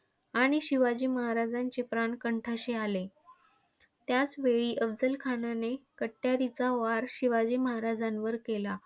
आणि शिवाजी महाराजांचे प्राण कंठाशी आले. त्याचवेळी अफझलखानाने कट्यारीचा वार शिवाजी महाराजांवर केला.